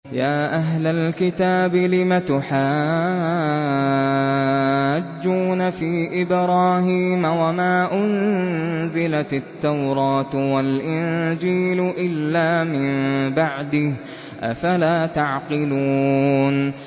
يَا أَهْلَ الْكِتَابِ لِمَ تُحَاجُّونَ فِي إِبْرَاهِيمَ وَمَا أُنزِلَتِ التَّوْرَاةُ وَالْإِنجِيلُ إِلَّا مِن بَعْدِهِ ۚ أَفَلَا تَعْقِلُونَ